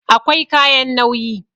Akwai kayan nauyi